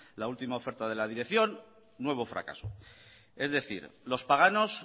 la última oferta de la dirección nuevo fracaso es decir los paganos